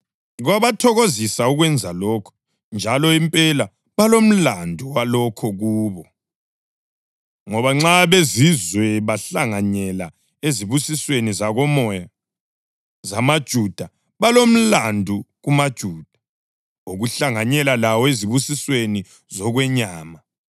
Kwabathokozisa ukwenza lokho, njalo impela balomlandu walokho kubo. Ngoba nxa abeZizwe bahlanganyela ezibusisweni zakomoya zamaJuda, balomlandu kumaJuda wokuhlanganyela lawo ezibusisweni zokwenyama.